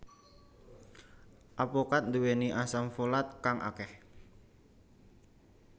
Apokat duweni asam folat kang akeh